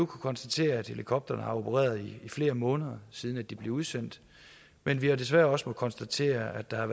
konstatere at helikopterne har opereret i flere måneder siden de blev udsendt men vi har desværre også måttet konstatere at der er